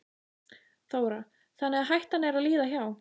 Þóra: Þannig að hættan er að líða hjá?